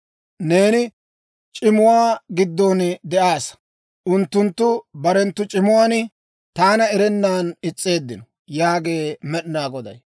Neeni c'imuwaa giddon de'aassa. Unttunttu barenttu c'imuwaan taana erennan is's'eeddino» yaagee Med'inaa Goday.